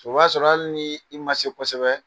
O b'a sɔrɔ hali ni i ma se kosɛbɛ